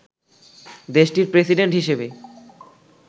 দেশটির প্রেসিডেন্ট হিসেবে